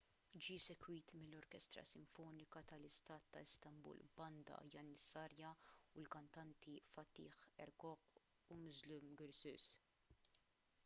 ġie segwit mill-orkestra sinfonika tal-istat ta’ istanbul banda janissarja u l-kantanti fatih erkoç u müslüm gürses